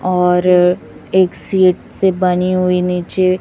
और एक सीट से बनी हुई नीचे--